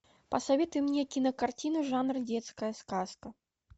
посоветуй мне кинокартину жанра детская сказка